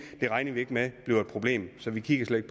det regner vi ikke med bliver et problem så vi kigger slet